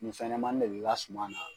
Ni fɛnɲɛnɛmani de bɛ i ka suma na.